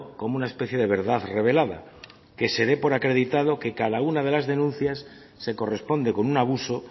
como una especie de verdad revelada que se dé por acreditado que cada una de las denuncias se corresponde con un abuso